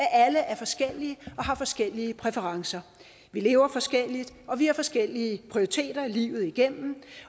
alle er forskellige og har forskellige præferencer vi lever forskelligt og vi har forskellige prioriteter livet igennem